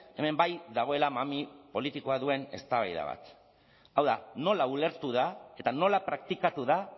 hemen bai dagoela mami politikoa duen eztabaida bat hau da nola ulertu da eta nola praktikatu da